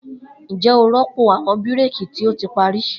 Njẹ o rọpo awọn bírékì ti o ti pari?